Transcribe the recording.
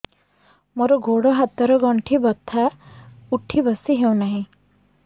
ମୋର ଗୋଡ଼ ହାତ ର ଗଣ୍ଠି ବଥା ଉଠି ବସି ହେଉନାହିଁ